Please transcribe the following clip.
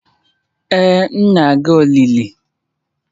Ee, m na-aga olili.